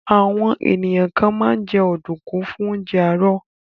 Àwọn ènìyàn kan máa ń jẹ ọ̀dùnkún fún oúnjẹ àárọ̀.